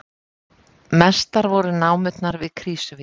Mestar voru námurnar við Krýsuvík